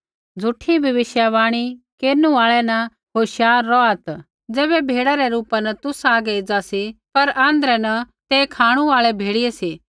झ़ूठी भविष्यवाणी केरनु आल़ै न होशियार रौहात् ज़ो भेड़ै रै रूपा न तुसा हागै एज़ा सी पर आँध्रै न ते खाँणु आल़ै भेड़ियै सी